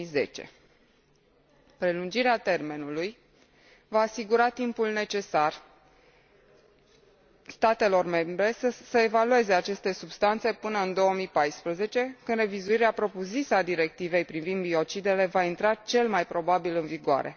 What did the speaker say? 2010. Prelungirea termenului va asigura timpul necesar statelor membre să evalueze aceste substanțe până în 2014, când revizuirea propriu zisă a Directivei privind biocidele va intra cel mai probabil în vigoare.